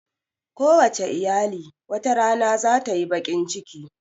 Kowace iyali wata rana zata yi baƙin ciki